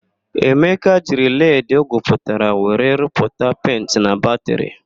Emeka jiri leedị o gwuputara were rụpụta penti na batịrị.